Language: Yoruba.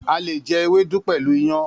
A le jẹ ewédú pẹ̀lú iyàn.